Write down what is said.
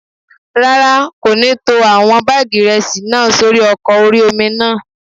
Rárá, kò ní tó àwọn báàgì ìrẹsì náà sórí ọkọ̀ orí-omi náà